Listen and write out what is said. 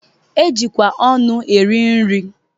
E jikwa ọnụ eri nri.